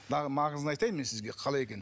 маңызын айтайын мен сізге қалай екен